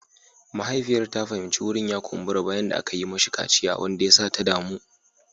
Mahaifiyar ta fahimci wurin ya kumbura bayan da aka yi mashi kaciya wanda ya sa ta damu.